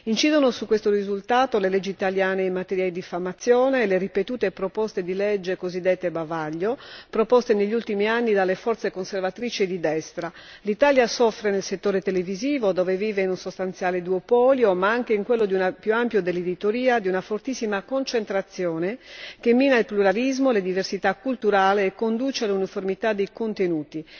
Incidono su questo risultato le leggi italiane in materia di diffamazione e le ripetute proposte di legge cosiddette bavaglio, presentate negli ultimi anni dalle forze conservatrici di destra. L'Italia soffre, nel settore televisivo, dove vive un sostanziale duopolio, ma anche in quello più ampio dell'editoria, di una fortissima concentrazione che mina il pluralismo e le diversità culturali e conduce a uniformità di contenuti